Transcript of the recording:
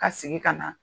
Ka sigi ka na